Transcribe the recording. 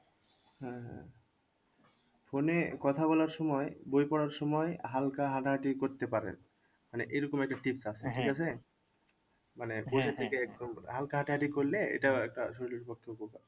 হ্যাঁ হ্যাঁ phone এ কথা বলার সময় বই পড়ার সময় হালকা হাঁটাহাটি করতে পারে মানে এরকম একটা মানে থেকে একদম হালকা হাঁটাহাটি করলে এটাও একটা শরীরের পক্ষে উপকার